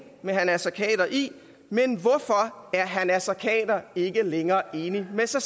med herre naser khader i men hvorfor er herre naser khader ikke længere enig med sig